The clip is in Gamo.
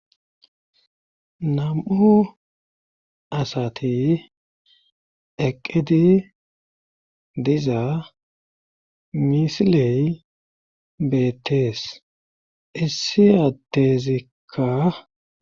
nam7o asati eqqidi diza misiley beettees issiyatezikka